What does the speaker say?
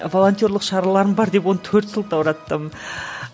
волонтерлік шараларым бар деп оны төрт сылтаураттым